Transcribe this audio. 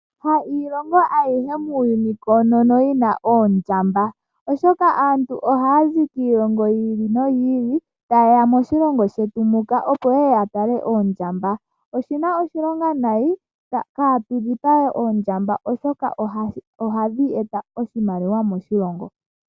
Iilongo ayihe muuyuni koonono ka yi na oondjamba oshoka aantu oha ya zi kiilongo yi ili, no yi ili ,tayeya moshilongo shetu oku talaoondjamba. Oshina oshilonga nayi katu dhipage oondjamba oshoka oha dhi eta oshimaliwa moshilongo.